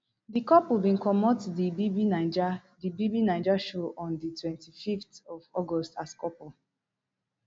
di couple bin comot di bbnaija di bbnaija show on di twenty-fiveth of august as couple